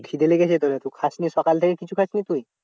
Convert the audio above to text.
খিদে লেগেছে তোরে খুব খাসনি সকাল থেকে কিছু খাসনি তুই?